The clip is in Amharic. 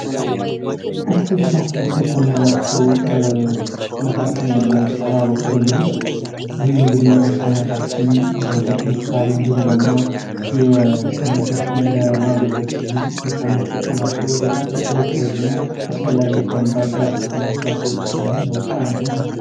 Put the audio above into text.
አትክልት እና ፍራፍሬ ከምንላቸው መካከል እንግዲህ ለምሳሌ አቦካዶን ብንወስድ ይህም እንግዲህ ለሰውነታችን ለጥንካሬ እንዲሁም ደግሞ የሰውነታችንን ለማጎልበት ስንል ከምንጠቀማቸው በጣም ተወዳጅ እና አስፈላጊ ከሚባሉት የአትክልት እና የፍራፍሬዎች ውስጥ አንዱ ነው ማለት ነው ።